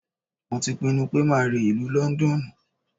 Mo ti pinnu pé máa re ìlú Lọ́ńdọ́ọ̀nù.